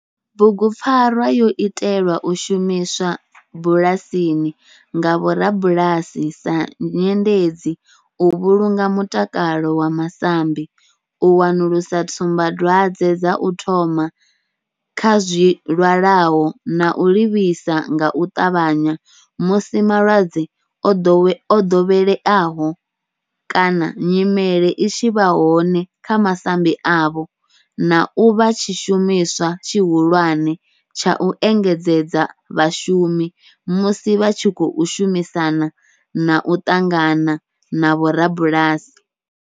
Bugupfarwa yo itelwa u shumiswa bulasini nga vhorabulasi sa nyendedzi u vhulunga mutakalo wa masambi, u wanulusa tsumbadwadzwe dza u thoma kha zwilwalaho na u livhisa nga u ṱavhanya musi malwadze o dovheleaho kana nyimele i tshi vha hone kha masambi avho, na u vha tshishumiswa tshihulwane tsha u engedzedza vhashumi musi vha tshi khou shumisana na u ṱangana na vhorabulasi.